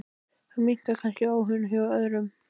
Þá minnkar kannski áhuginn hjá öðrum.